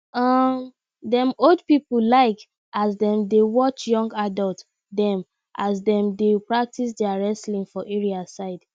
um dem old people like as dem dey watch young adults dem as dem dey practice their wrestling for area side